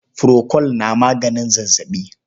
Furokol ma na maganin zazzaɓi.